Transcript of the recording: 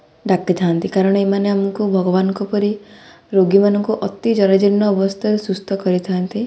ଡାକିଥାନ୍ତି କାରଣ ଏମାନେ ଆମକୁ ଭଗବାନଙ୍କ ପରି ରୋଗୀମାନଙ୍କୁ ଅତି ଜରାଜୀର୍ଣ୍ଣ ଅବସ୍ଥାରୁ ସୁସ୍ଥ କରାଇଥାନ୍ତି ।